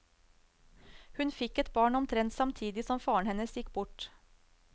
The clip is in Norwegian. Hun fikk et barn omtrent samtidig som faren hennes gikk bort.